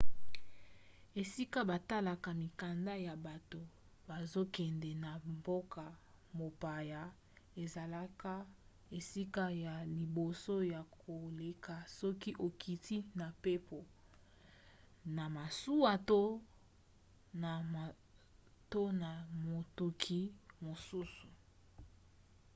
esika batalaka mikanda ya bato bazokende na mboka mopaya ezalaka esika ya liboso ya koleka soki okiti na mpepo na masuwa to na motuka mosusu